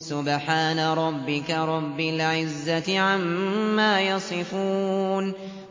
سُبْحَانَ رَبِّكَ رَبِّ الْعِزَّةِ عَمَّا يَصِفُونَ